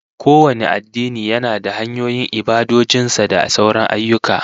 Kowane addini yana da hanyoyin ibadojin sa da sauran ayyuka